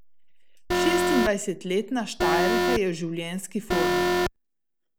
Šestindvajsetletna Štajerka je v življenjski formi.